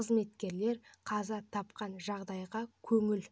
қызметкерлер қаза тапқан жағдайға көңіл